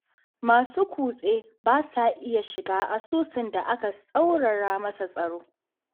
Masu kutse ba sa iya shiga asusun da aka tsaurara masa tsaro